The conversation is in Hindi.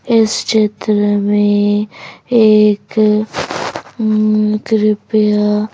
इस चित्र में एक उम्मम कृपया--